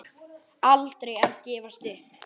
Aldrei að gefast upp.